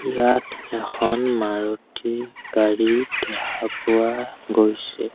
ইয়াত এখন মাৰুতি গাড়ী দেখা পোৱা গৈছে।